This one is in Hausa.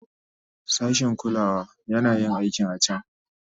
Sashin kulawa yana yin aikin a can.